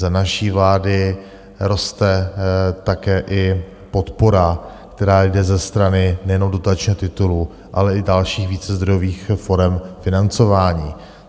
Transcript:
Za naší vlády roste také i podpora, která jde ze strany nejenom dotačního titulu, ale i dalších vícezdrojových forem financování.